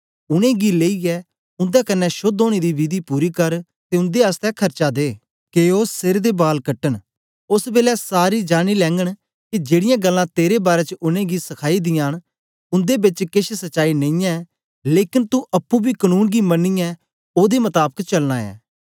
उनेंगी लेईयै उन्दे कन्ने शोद्ध ओनें दी विधि पूरी कर ते उन्दे आसतै खर्चा दे के ओ सर दे बाल कटन ओस बेलै सारे जानीं लैगन के जेड़ीयां गल्लां तेरे बारै च उनेंगी सखाई दियां न उन्दे बेच केछ सच्चाई नेईयैं लेकन तू अप्पुं बी कनून गी मनियै ओदे मताबक चलना ऐं